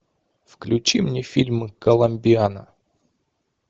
включи мне фильм коломбиана